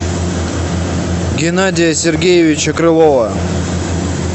геннадия сергеевича крылова